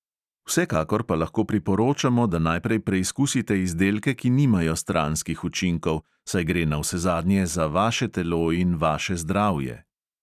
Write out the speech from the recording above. Vsekakor pa lahko priporočamo, da najprej preizkusite izdelke, ki nimajo stranskih učinkov, saj gre navsezadnje za vaše telo in vaše zdravje.